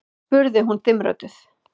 spurði hún dimmrödduð.